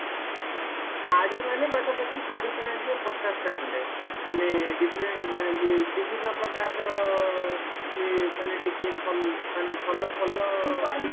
ଶାଢୀ ମାନେ ପାଖ ପାଖି ଶାଢୀ କିଣା ଜୀବ ପଚାଷ୍ଟା ଖଣ୍ଡେ ମାନେ different ମାନେ ବିଭିନ୍ନ ପ୍ରକାରର ଇଏ ମାନେ ଟିକେ ଭଲ ମାନେ ଭଲ ଭଲ